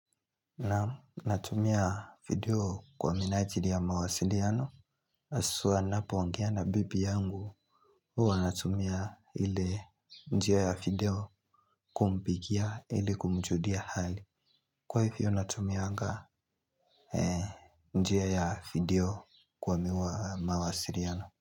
Na natumia video kwa minajiri ya mawasiliano, haswa ninapo ongea na bibi yangu. Huwa natumia ile njia ya video kumpigia ili kumjulia hali. Kwa hivyo natumianga njia ya video kwa mawasiliano.